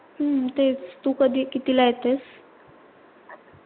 हम्म तेच तू कधी कितीला येतेस?